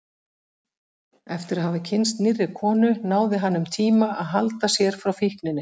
Eftir að hafa kynnst nýrri konu náði hann um tíma að halda sér frá fíkninni.